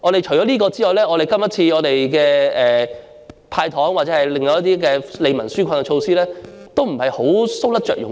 除此之外，今次的"派糖"或其他一些利民紓困措施都是搔不着癢處。